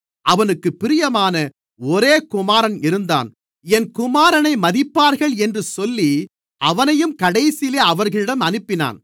அவனுக்குப் பிரியமான ஒரே குமாரன் இருந்தான் என் குமாரனை மதிப்பார்கள் என்று சொல்லி அவனையும் கடைசியிலே அவர்களிடம் அனுப்பினான்